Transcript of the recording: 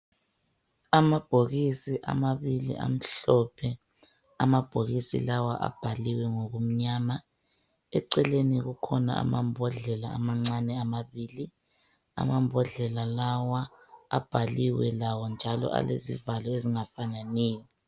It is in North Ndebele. Amabhokisi amabili amhlophe. Amabhokisi lawa abhaliwe ngokumnyama, eceleni kukhona amambhodlela amancane amabili. Amambhodlela lawa avaliwe lawo njalo alezivalo ezingafananiyo.